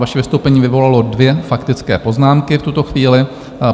Vaše vystoupení vyvolalo dvě faktické poznámky v tuto chvíli.